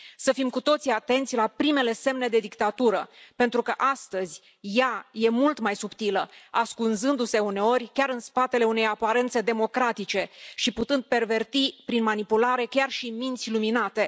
Să fim cu toții atenți la primele semne de dictatură, pentru că astăzi ea este mult mai subtilă, ascunzându se uneori chiar în spatele unei aparențe democratice și putând perverti prin manipulare chiar și minți luminate.